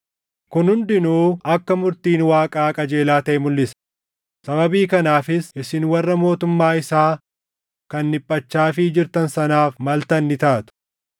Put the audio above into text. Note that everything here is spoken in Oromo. Kun hundinuu akka murtiin Waaqaa qajeelaa taʼe mulʼisa; sababii kanaafis isin warra mootummaa isaa kan dhiphachaafii jirtan sanaaf maltan ni taatu.